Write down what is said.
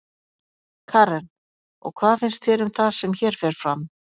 Karen: Og hvað finnst þér um það sem hér fer fram?